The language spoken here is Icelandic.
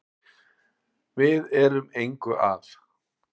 Við erum engu að